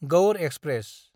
Gaur express